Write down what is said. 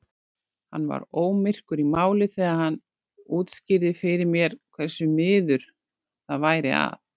Hann var ómyrkur í máli þegar hann útskýrði fyrir mér hversu miður það væri að